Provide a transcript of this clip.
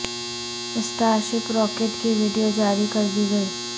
star شپ rocket کی video جاری کر دی گئی